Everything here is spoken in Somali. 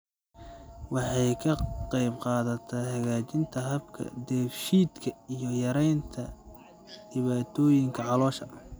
Waxay ka qaybqaadataa hagaajinta habka dheef-shiidka iyo yaraynta dhibaatooyinka caloosha.